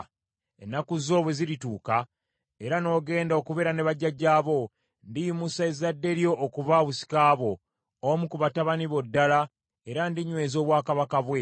Ennaku zo bwe zirituuka, era n’ogenda okubeera ne bajjajjaabo, ndiyimusa ezzadde lyo okuba obusika bwo, omu ku batabani bo ddala, era ndinyweza obwakabaka bwe.